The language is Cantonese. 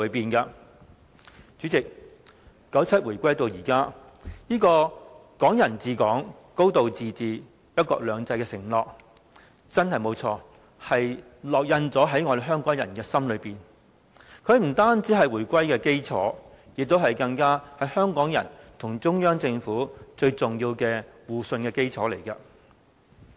代理主席 ，97 回歸至今，這個"港人治港、高度自治、一國兩制"的承諾，真的沒錯，烙印在香港人的心中，它不但是回歸的基礎，更是香港人與中央政府最重要的互信基礎。